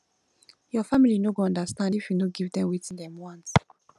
your family no go understand if you no give dem wetin dem want